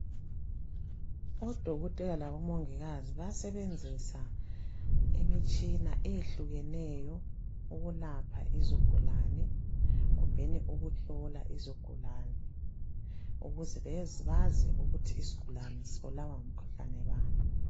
Odokotela labomongikazi bayasebenzisa imitshina eyehlukeneyo ukulapha izigulane, kumbeni ukuhlola izigulane ukuze bezi bazi ukuthi isigulane sibulawa ngumkhuhlane bani.